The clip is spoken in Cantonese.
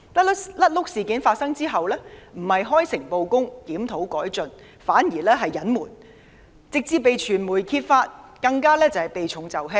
"甩轆"事件發生後，他們不是開誠布公，檢討改進，反而是隱瞞，直至被傳媒揭發，其後對事件的回應更是避重就輕。